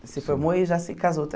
Se formou e já se casou.